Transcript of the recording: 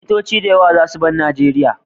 Likitoci da yawa za su bar Nijeria